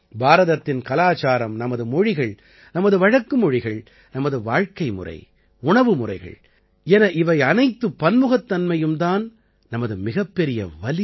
பாரதத்தின் கலாச்சாரம் நமது மொழிகள் நமது வழக்கு மொழிகள் நமது வாழ்க்கைமுறை உணவு முறைகள் என இவையனைத்து பன்முகத்தன்மையும் தான் நமது மிகப்பெரிய வலிமை